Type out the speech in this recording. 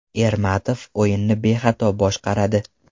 Ermatov o‘yinni bexato boshqaradi.